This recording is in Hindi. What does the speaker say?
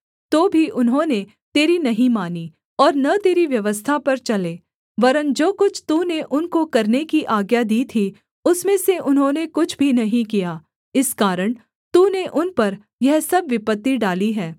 तो भी उन्होंने तेरी नहीं मानी और न तेरी व्यवस्था पर चले वरन् जो कुछ तूने उनको करने की आज्ञा दी थी उसमें से उन्होंने कुछ भी नहीं किया इस कारण तूने उन पर यह सब विपत्ति डाली है